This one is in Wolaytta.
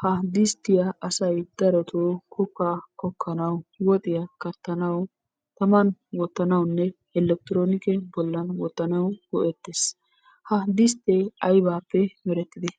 Ha disttiyaa asay daroto kokkaa kokkanawu, woxiya kattanawu, taman wottanawunne elektironike bollan wottanawu go"ettes. Ha disttee aybaappe merettidee?